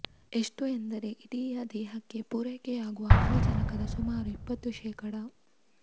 ಎಷ್ಟು ಎಂದರೆ ಇಡಿಯ ದೇಹಕ್ಕೆ ಪೂರೈಕೆಯಾಗುವ ಆಮ್ಲಜನಕದ ಸುಮಾರು ಇಪ್ಪತ್ತು ಶೇಖಡಾ